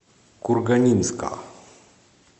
курганинска